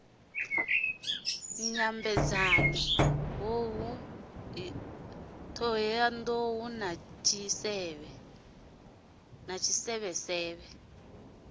dyambeu t hohoyandou na tshisevhe